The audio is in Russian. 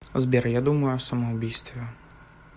сбер я думаю о самоубийстве